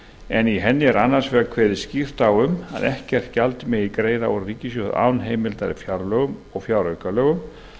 en í henni er annars vegar kveðið skýrt á um að ekkert gjald megi greiða úr ríkissjóði án heimildar í fjárlögum og fjáraukalögum